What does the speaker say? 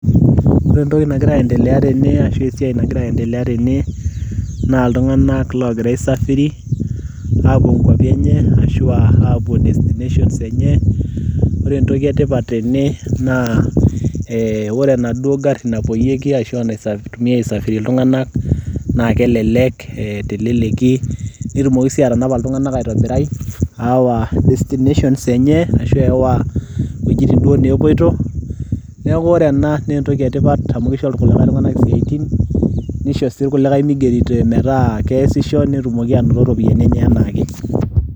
ore entoki nagira aendelea tene ashu esiai nagira aendelea tene naa iltung'anak logira aisafiri aapuo nkuapi enye ashu apuo destinations enye ore entoki etipat tene naa eh, ore enaduo garri napuoyieki ashua naitumiae aisafirie iltung'anak naa kelelek teleleki netumoki sii atanapa iltung'anak aitobirai aawa destinations enye ashu aawa iwuejitin duo nepuoito neeku ore ena naa entoki etipat amu kisho irkulikae tung'anak isiaitin nisho sii irkulikae migeri metaa keesisho netumoki anoto iropiyiani enye enaake.